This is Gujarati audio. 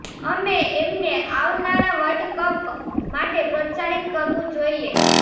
અમે એમને આવનારા વર્લ્ડ કપ માટે પ્રોત્સાહિત કરવું જોઈએ